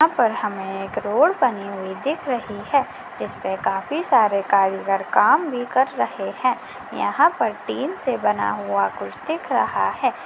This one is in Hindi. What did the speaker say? यहाँ पर हमे एक रोड बनी हुई दिख रही है जिसपे काफी सारे कारीगार काम भी कर रहे है यहाँ पर टीन से बना हुआ कुछ दिख रहा है।